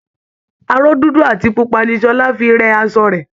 Aró dúdú àti pupa ni Ṣọlá fi ń rẹ asọ rẹ̀